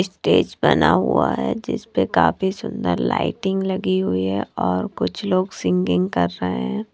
Stage बना हुआ है जिसपे काफी सुंदर लाइटिंग लगी हुई है और कुछ लोग सिंगिंग कर रहें हैं।